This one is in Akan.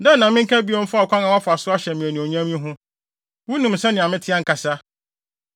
“Dɛn na menka bio mfa ɔkwan a woafa so ahyɛ me anuonyam yi ho? Wunim sɛnea mete ankasa.